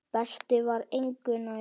Berti var engu nær.